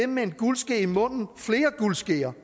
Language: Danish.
med en guldske i munden flere guldskeer